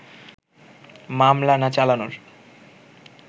মামলা না চালানোর